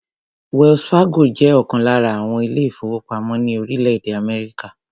Wells Fargo jẹ́ ọ̀kan lára àwọn ilé-ìfowópamọ́ ní orílẹ̀-èdè Amerika.